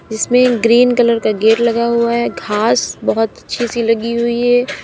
इसमें green colour का gate लगा हुआ है घास बहोत अच्छी सी लगी हुई है।